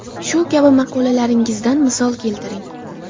Shu kabi maqolalaringizdan misol keltiring.